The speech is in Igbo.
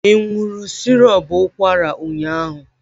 Ị were sirop ụkwara ụnyaahụ?